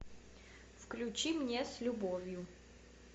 включи мне с любовью